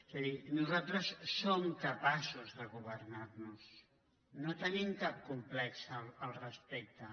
és a dir nosaltres som capaços de governar·nos no tenim cap complex al respecte